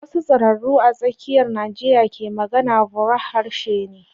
Wasu tsiraru a tsakiyar Najeriya ke magana, burah harshe ne.